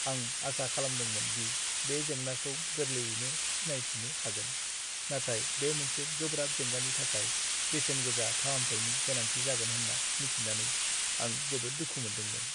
आं आसा खालामदोंमोन दि बे जेंनाखौ गोरलैयैनो सिनायथिनो हागोन, नाथाय बे मोनसे गोब्राब जेंनानि थाखाय बेसेन गोसा फाहामथायनि गोनांथि जागोन होन्ना मिथिनानै आं जोबोद दुखु मोनदोंमोन।